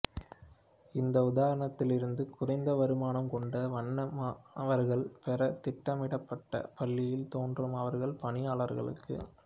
இந்த உதாரணத்திலிருந்து குறைந்த வருமானம் கொண்ட வண்ண மாணவர்கள் பெற திட்டமிடப்பட்ட பள்ளியில் தோன்றும் அவர்கள் பணியாளர்களுக்கு